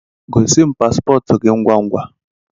Gosi m pasipotu gi ngwangwa